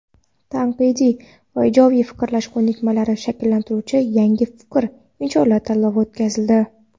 tanqidiy va ijodiy fikrlash ko‘nikmalarini shakllantiruvchi "Yangi fikr" insholar tanlovi o‘tkazildi.